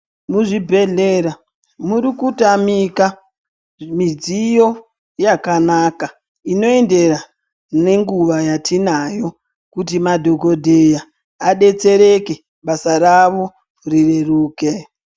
Muzvibhedhlera murikutamika mudziyo yakanaka inoendera nenguva yatinayo kuti madhokodheya adetsereke basa ravo rireruke.